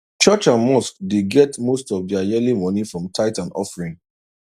church and mosque dey get most of their yearly money from tithe and offering